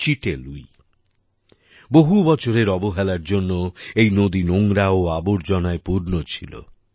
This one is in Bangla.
চিটে লুই বহু বছরের অবহেলার জন্যে এই নদী নোংরা ও আবর্জনায় পূর্ন ছিল